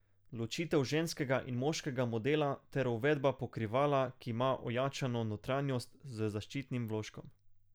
Ločitev ženskega in moškega modela ter uvedba pokrivala, ki ima ojačano notranjost z zaščitnim vložkom.